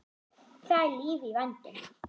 Það er líf í vændum.